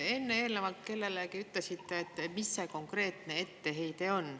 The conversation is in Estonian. Enne te kellelegi ütlesite, et mis see konkreetne etteheide on.